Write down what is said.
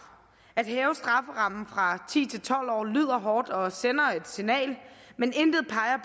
at hæve strafferammen fra ti til tolv år lyder hårdt og sender et signal men intet peger